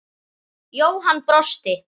Jóhann brosti.